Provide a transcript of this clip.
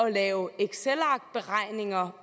at lave excelarkberegninger